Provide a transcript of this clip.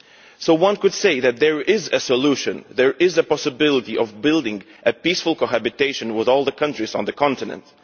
So one could say that there is a solution, there is a possibility of building a peaceful cohabitation with all the countries on the continent.